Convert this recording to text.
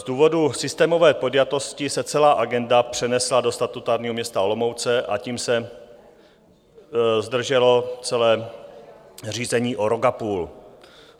Z důvodu systémové podjatosti se celá agenda přenesla do statutárního města Olomouc a tím se zdrželo celé řízení o rok a půl.